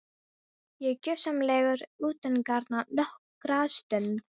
Ég er gjörsamlega utangarna nokkra stund.